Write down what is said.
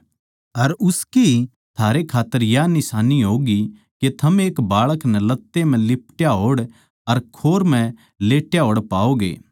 अर उसकी थारै खात्तर या निशान्नी होगी के थम एक बाळक नै लत्ते म्ह लिपट्या होड़ अर खोर म्ह लेट्या होड़ पाओगे